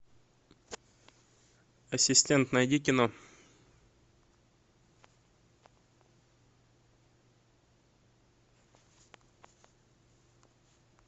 ассистент найди кино